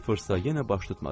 Sıfırsa yenə baş tutmadı.